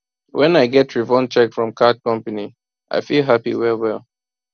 when i get refund check from card company i feel happy well well